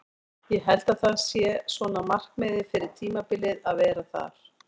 Ég held að það sé svona markmiðið fyrir tímabilið að vera þar.